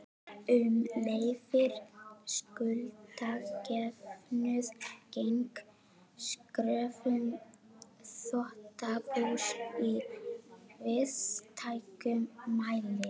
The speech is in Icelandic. sem leyfir skuldajöfnuð gegn kröfum þrotabús í víðtækum mæli.